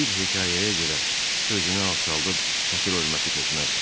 Bir hekayəyə görə özünü alçaldıb xətir-hörməti tökməz.